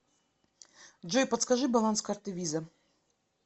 джой подскажи баланс карты виза